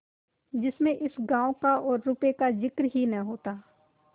जिसमें इस गॉँव का और रुपये का जिक्र ही न होता